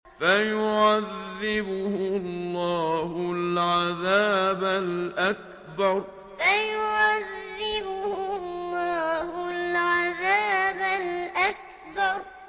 فَيُعَذِّبُهُ اللَّهُ الْعَذَابَ الْأَكْبَرَ فَيُعَذِّبُهُ اللَّهُ الْعَذَابَ الْأَكْبَرَ